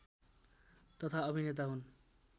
तथा अभिनेता हुन्